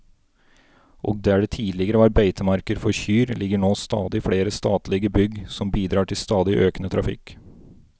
Og der det tidligere var beitemarker for kyr, ligger nå stadig flere statlige bygg som bidrar til stadig økende trafikk.